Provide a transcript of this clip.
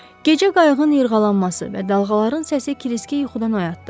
Gecə qayığın yırğalanması və dalğaların səsi Kiriski yuxudan oyatdı.